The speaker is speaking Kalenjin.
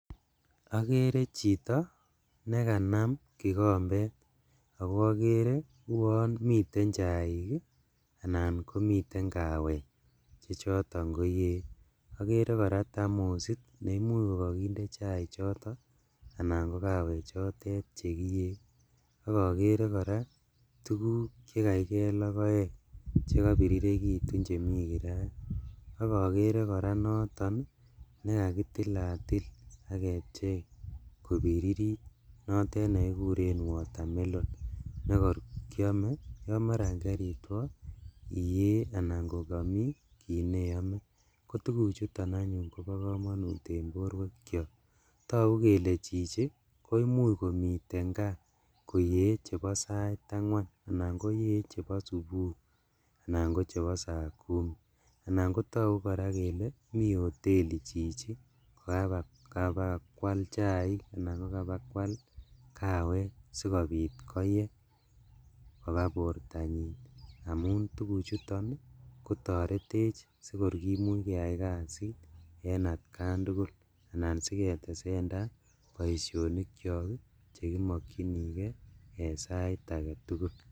Okere chito nekanam kikombet ako okere uon miten chaik ii anan komiten kawek chechoton koyee okere koraa thamosit neimuch kokokinde chaichoto anan ko kawechotet chekiyee, ak okere koraa tuguk chekaikee logoek chakobirirekitu chemi kirait, ak okere koraa noton nekakitilatil ak kepchei kobiririt notet nekikuren watermelon nekor kiome yon maran keritwo iyee anan kokomi kit neome, kotuguchuton anyun kobo komonut en boruekiok togu kele chichi koimuch komiten kaa koyee chebo sait angwan anan koyee chebo subui anan kochebo saa kumi, anan kotokyu koraa kele mi hoteli chichi kakabakwal chaik anan kawek sikobit koyee kobaa bortanyin amun tuguchuton kotoretech sikor kimuch keyai kasit en atkan tugul anan siketesendaa boisionikyok chekimokchigee ii en sait aketugul.